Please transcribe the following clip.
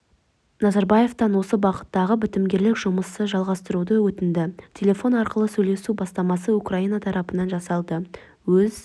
назарбаевтан осы бағыттағы бітімгерлік жұмысты жалғастыруын өтінді телефон арқылы сөйлесу бастамасы украина тарапынан жасалды өз